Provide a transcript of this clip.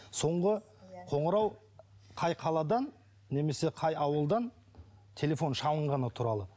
соңғы қоңырау қай қаладан немесе қай ауылдан телефон шалынғаны туралы